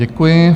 Děkuji.